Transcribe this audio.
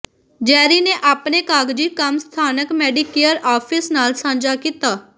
ਜੈਰੀ ਨੇ ਆਪਣੇ ਕਾਗਜ਼ੀ ਕੰਮ ਸਥਾਨਕ ਮੈਡੀਕੇਅਰ ਆਫਿਸ ਨਾਲ ਸਾਂਝਾ ਕੀਤਾ